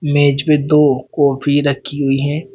मेज पे दो कॉफी रखी हुई हैं।